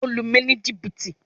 O lu mi ni jìbìtì!